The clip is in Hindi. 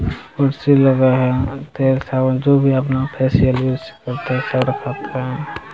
कुर्सी लगा है जो भी अपना फेशियल यूज़ करते --